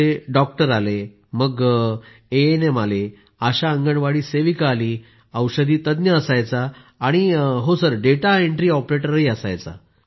पूनम नौटियालः त्यात डॉक्टर आले मग एएनएम आले आशा अंगणवाडी सेविका आली औषधी तज्ञ असायचा आणि डेटा एंट्री ऑपरेटर असे